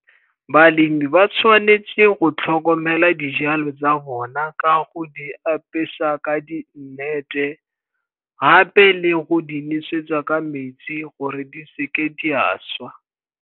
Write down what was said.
Balemi ba tshwanetse go tlhokomela dijalo tsa bona ka go di apesa ka di nnete, gape le go di nosetsa ka metsi gore di seke di a swa.